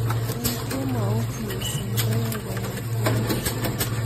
eng kemout mising koae banitwagik